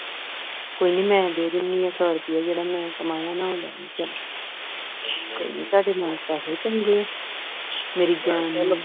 ਕੋਈ ਨਹੀਂ ਮੈਂ ਦੇ ਦੇਣੀਆਂ ਸੌ ਰੁਪਇਆ ਜਿਹੜਾ ਮੈਂ ਕਮਾਇਆ ਨਾ ਹੋਰ ਲੈ ਲਓ ਚਲੋ ਕੋਈ ਨਹੀਂ ਤੁਹਾਡੇ ਨਾਲੋਂ ਪੈਸੇ ਚੰਗੇ ਆ ਮੇਰੀ ਜਾਨ ਲੈ ਲਵੋ